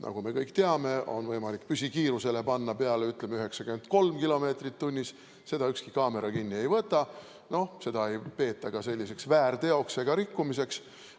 Nagu me kõik teame, on võimalik panna peale, ütleme, 93 kilomeetrit tunnis, seda ükski kaamera kinni ei võta, seda ei peeta ka väärteoks ega rikkumiseks.